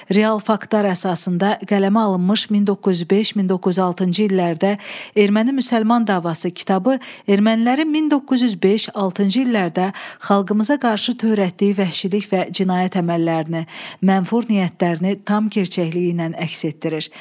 Real faktorlar əsasında qələmə alınmış 1905-1906-cı illərdə erməni-müsəlman davası kitabı ermənilərin 1905-6-cı illərdə xalqımıza qarşı törətdiyi vəhşilik və cinayət əməllərini, mənfur niyyətlərini tam çılpaqlığı ilə əks etdirir.